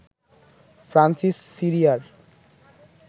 Francis সিরিয়ার